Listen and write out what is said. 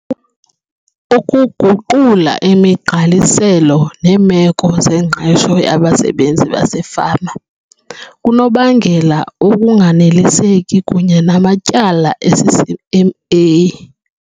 Ukuguqula imigqaliselo neemeko zengqesho yabasebenzi basefama kunokubangela ukunganeliseki kunye namatyala eCCMA.